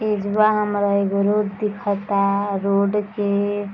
एजवा हमरा एगो रोड दिखता | रोड के --